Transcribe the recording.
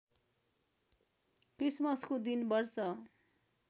क्रिसमसको दिन वर्ष